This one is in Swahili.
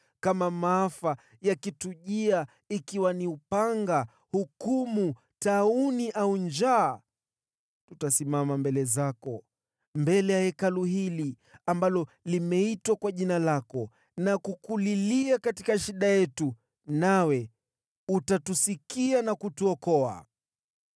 ‘Kama maafa yakitujia, ikiwa ni upanga, hukumu, tauni, au njaa, tutasimama mbele zako, mbele ya Hekalu hili ambalo limeitwa kwa Jina lako na kukulilia katika shida yetu, nawe utatusikia na kutuokoa.’